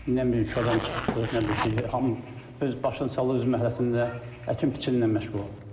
Nə bir iki adam çıxdı, nə bir şey, hamı öz başını saldı öz məhəlləsində əkin-biçinlə məşğul oldu.